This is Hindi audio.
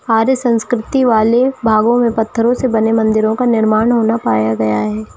अरे संस्कृति वाले भागों में पथरो से बने मंदिरों का निर्माण होना पाया गया है।